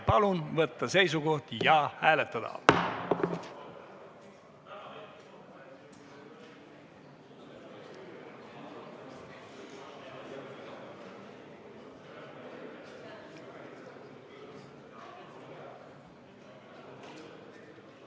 Palun võtta seisukoht ja hääletada!